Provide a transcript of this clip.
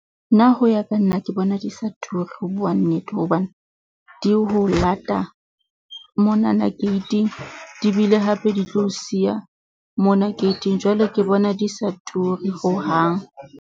Nna ho ya ka nna ke bona di sa turi ho bua nnete, hobane di ho lata monana gate-ing di bile hape di tlo o siya mona gate-ing. Jwale ke bona di sa turi hohang.